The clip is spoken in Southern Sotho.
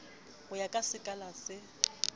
ho ya ka sekala se